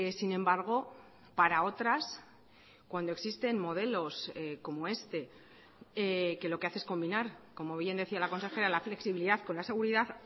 sin embargo para otras cuando existen modelos como este que lo que hace es combinar como bien decía la consejera la flexibilidad con la seguridad